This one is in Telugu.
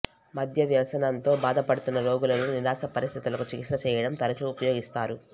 మద్య వ్యసనంతో బాధపడుతున్న రోగులలో నిరాశ పరిస్థితులకు చికిత్స చేయడం తరచూ ఉపయోగిస్తారు